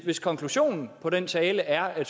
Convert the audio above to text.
hvis konklusionen på den tale er at